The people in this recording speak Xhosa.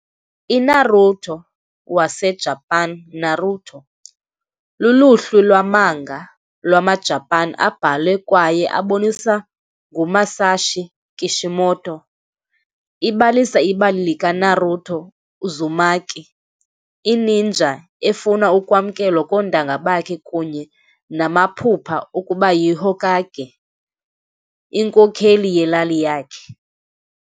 INaruto, waseJapan- NARUTO, luluhlu lwa-manga lwamaJapan abhalwe kwaye aboniswa nguMasashi Kishimoto. Ibalisa ibali likaNaruto Uzumaki, i-ninja efuna ukwamkelwa koontanga bakhe kunye namaphupha okuba yiHokage, inkokheli yelali yakhe.